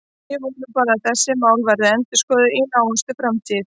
Ég vona bara að þessi mál verði endurskoðuð í nánustu framtíð.